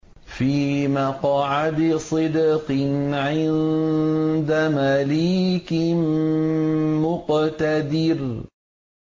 فِي مَقْعَدِ صِدْقٍ عِندَ مَلِيكٍ مُّقْتَدِرٍ